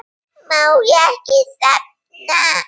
Má ekki nefna